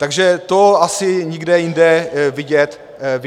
Takže to asi nikde jinde vidět není.